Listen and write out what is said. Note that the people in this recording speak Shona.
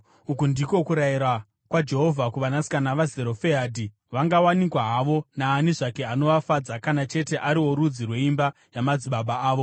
Uku ndiko kurayira kwaJehovha kuvanasikana vaZerofehadhi: Vangawanikwa havo naani zvake anovafadza kana chete ari worudzi rweimba yamadzibaba avo.